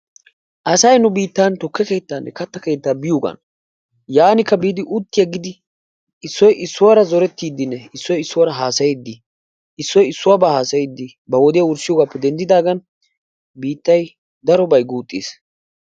Asay nu biittan tukke keettanne kattaa keettaa biyogan yaanikka biidi utti aggidi issoy issuwara zorettiidinne issoy issuwara haasayiidi issoy issuwabaa haasayiidi ba wodiya wurssiyogaappe denddidaagan biittay darobay guuxxiis.